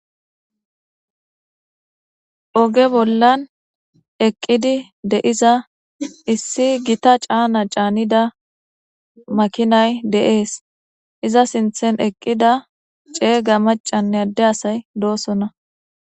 oge bollan eqqidi deiza issi gita caana caanida makinay de7ees iza sinthen eqqida ceega macanne adde asay doosonna